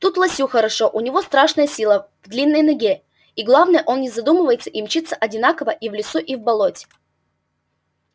тут лосю хорошо у него страшная сила в длинной ноге и главное он не задумывается и мчится одинаково и в лесу и в болоте